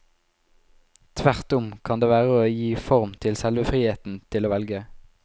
Tvert om kan det være å gi form til selve friheten til å velge.